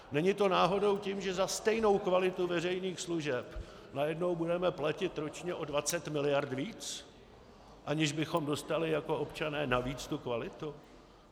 Není to náhodou tím, že za stejnou kvalitu veřejných služeb najednou budeme platit ročně o 20 miliard víc, aniž bychom dostali jako občané navíc tu kvalitu?